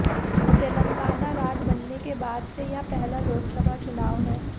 तेलंगाना राज्य बनने के बाद से यह पहला लोकसभा चुनाव है